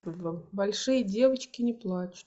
большие девочки не плачут